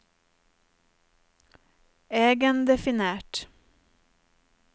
egendefinert